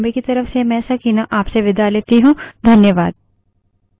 यह script देवेन्द्र कैरवान द्वारा अनुवादित है तथा आई आई टी बॉम्बे की तरफ से मैं सकीना अब आप से विदा लेती हूँ